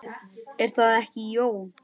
Er það ekki, Jón?